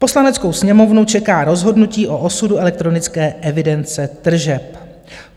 Poslaneckou sněmovnu čeká rozhodnutí o osudu elektronické evidence tržeb.